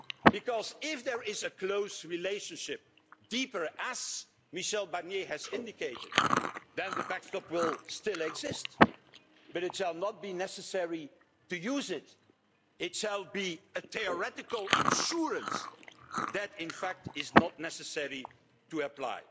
Because if there is a close relationship deeper, as Michel Barnier has indicated then the backstop will still exist but it will not be necessary to use it. It will be a theoretical insurance that it is, in fact, not necessary to apply.